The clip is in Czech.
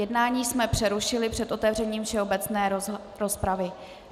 Jednání jsme přerušili před otevřením všeobecné rozpravy.